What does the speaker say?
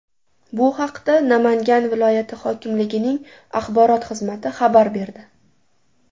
Bu haqda Namangan viloyati hokimligining axborot xizmati xabar berdi .